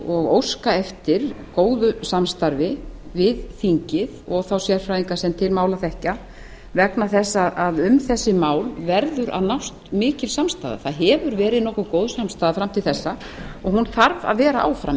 og óska eftir góðu samstarfi við þingið og þá sérfræðinga sem til mála þekkja vegna þess að um þessi mál verður að nást mikil samstaða það hefur verið nokkuð góð samstaða fram til þessa og hún þarf að vera áfram